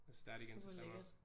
Fuck hvor lækkert